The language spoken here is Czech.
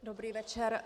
Dobrý večer.